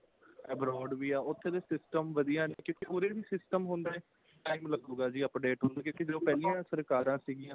abroad ਵੀ ਆ ਉੱਥੇ ਦੇ system ਵਧੀਆ ਨੇ ਕਿਤੇ ਉਰੇ ਵੀ system ਹੁੰਦਾ time ਲੱਗੂਦਾ ਜੀ update ਹੋਣ ਨੂੰ ਕਿਉਂਕਿ ਜੋ ਪਹਿਲੀਆਂ ਸਰਕਾਰਾਂ ਸੀਗੀਆਂ